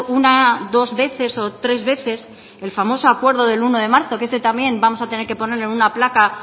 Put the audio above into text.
una dos veces o tres veces el famoso acuerdo del uno de marzo que este también vamos a tener que ponerle una placa